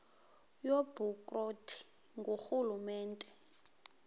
yobukro ti ngurhulumente